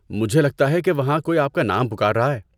مجھے لگتا ہے کہ وہاں کوئی آپ کا نام پکار رہا ہے۔